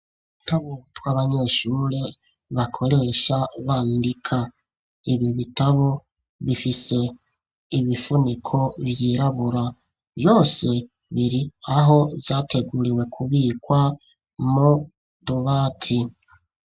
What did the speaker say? Bitabubutwa abanyeshure bakoresha bandika ibi bitabo bifise ibifuniko vyirabura vyose biri aho vyateguriwe kubikwa mu dobati.